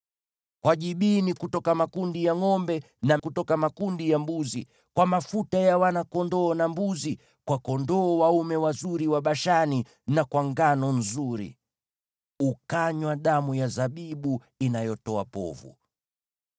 kwa jibini na maziwa kutoka makundi ya ngʼombe na kutoka makundi ya mbuzi, kwa mafuta ya wana-kondoo na mbuzi, kwa kondoo dume wazuri wa Bashani, na kwa ngano nzuri. Ukanywa damu ya zabibu inayotoa povu.